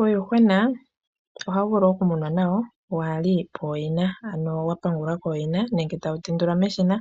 Uuyuhwena ohawu vulu okumunwa kaawuli pooyina ano watongolwa kooyina nenge tawu tendulwa meshina